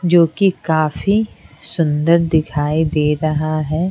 जो कि काफी सुंदर दिखाई दे रहा है।